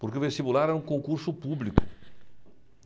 Porque o vestibular era um concurso público.